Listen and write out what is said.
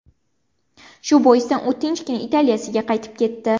Shu boisdan u tinchgina Italiyasiga qaytib ketdi.